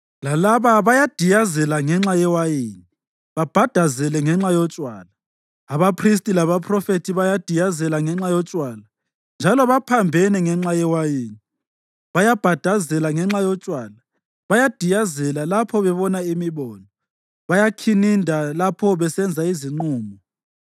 Lalaba bayadiyazela ngenxa yewayini, babhadazele ngenxa yotshwala. Abaphristi labaphrofethi bayadiyazela ngenxa yotshwala, njalo baphambene ngenxa yewayini; bayabhadazela ngenxa yotshwala, bayadiyazela, lapho bebona imibono, bayakhininda lapho besenza izinqumo.